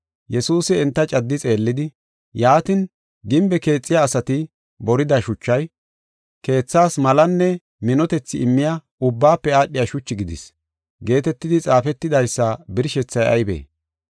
“Yesuusi enta caddi xeellidi, “ ‘Yaatin, gimbe keexiya asati borida shuchay, keethaas malanne minotethi immiya ubbaafe aadhiya shuchi gidis’ geetetidi xaafetidaysa birshethay aybee?